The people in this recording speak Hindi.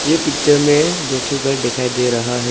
एक पिक्चर में दो ठो घर दिखाई दे रहा है।